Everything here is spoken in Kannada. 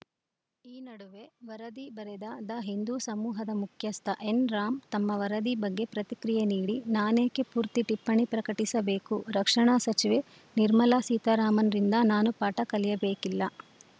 ಈ ನಡುವೆ ವರದಿ ಬರೆದ ದ ಹಿಂದೂ ಸಮೂಹದ ಮುಖ್ಯಸ್ಥ ಎನ್‌ ರಾಮ್‌ ತಮ್ಮ ವರದಿ ಬಗ್ಗೆ ಪ್ರತಿಕ್ರಿಯೆ ನೀಡಿ ನಾನೇಕೆ ಪೂರ್ತಿ ಟಿಪ್ಪಣಿ ಪ್ರಕಟಿಸಬೇಕು ರಕ್ಷಣಾ ಸಚಿವೆ ನಿರ್ಮಲಾ ಸೀತಾರಾಮನ್‌ರಿಂದ ನಾನು ಪಾಠ ಕಲಿಯಬೇಕಿಲ್ಲ